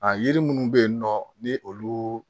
A yiri minnu bɛ yen nɔ ni olu